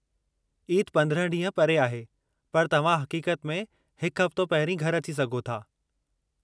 ईद 15 ॾींह परे आहे, पर तव्हां हक़ीक़त में हिकु हफ़्तो पहिरीं घरि अची सघो था।